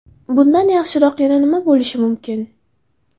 Bundan yaxshiroq yana nima bo‘lishi mumkin?